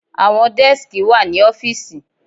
Àwọn dẹ́skì wà ní ọ́fìsì.